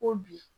Ko bi